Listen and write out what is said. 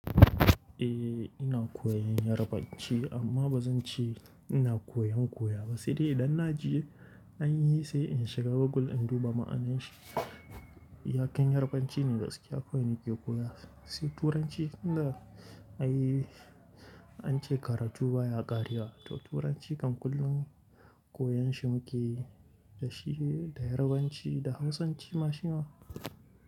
Eh ina koyan Yarbanci amma bazan ce ina koyan koya ba, sai dai idan na je an yi sai in shiga Google in duba ma'anashi. Iyakan Yarbanci ne gaskiya kawai nake koya, sai Turanci kanda ai ance karatu baya ƙarya. To Turanci kan kullum koyon shi muke yi da shi da Yarbanci da Hausanci ma shima.